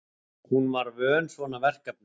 Hún var vön svona verkefnum.